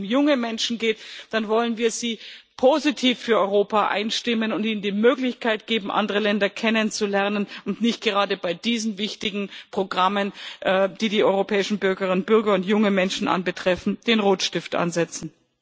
Gerade wenn es um junge Menschen geht, dann wollen wir sie positiv für Europa einstimmen und ihnen die Möglichkeit geben, andere Länder kennenzulernen, und nicht gerade bei diesen wichtigen Programmen, die die europäischen Bürgerinnen und Bürger und junge Menschen betreffen, den Rotstift ansetzen.